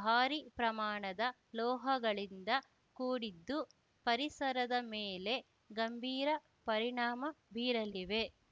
ಭಾರಿ ಪ್ರಮಾಣದ ಲೋಹಗಳಿಂದ ಕೂಡಿದ್ದು ಪರಿಸರದ ಮೇಲೆ ಗಂಭೀರ ಪರಿಣಾಮ ಬೀರಲಿವೆ